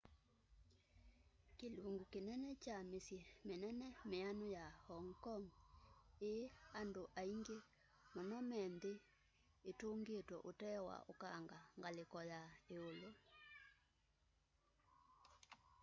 kilungu kinene kya misyi minene mianu ya hong kong ii andu aingi muno me nthi itungitwe utee wa ukanga ngaliko ya iulu